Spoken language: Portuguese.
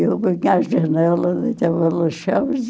E eu as janelas, ele estava luxuoso.